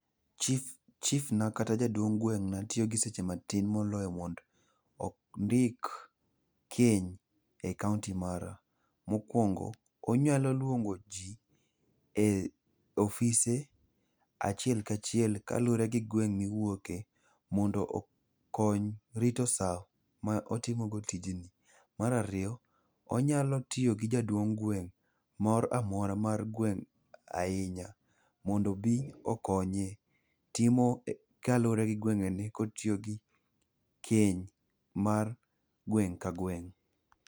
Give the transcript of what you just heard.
chief na kata jaduong' gweng'na tiyo gi seche matin moloyo mondo ondik keny ei kaonti mara. Mokwongo, onyalo lwongo ji e ofise achiel ka chiel kalure gi gweng' miwoke mondo okony rito sa ma otimogo tijni. Mar ariyo, onyalo tiyo gi jaduong' gweng' mora mora mar gweng' ahinya, mondo obi okonye timo kalure gi gwengni kotiyogi keny mar gweng' ka gweng'.